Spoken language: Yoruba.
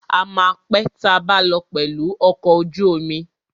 A ma pé tabá lọ pẹ̀lù ọkọ̀ ojú omi.